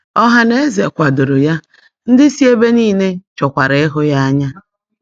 Ọhanaeze kwadoro ya, ndị si ebe nile chọkwara ịhụ ya anya.